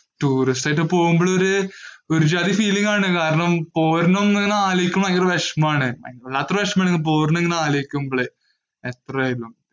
tourist ആയിട്ടു പോകുമ്പോ ഒരു ജാതി feeling ആണ്. പോരുന്ന ഇങ്ങനെ അലോയ്ക്കുമ്പോ ഭയങ്കര വിഷമം ആണ്. വല്ലാതെ ഒരു വിഷമം ആണ് പോരുന്ന ഇങ്ങനെ അലോയ്ക്കുമ്പോഴ്.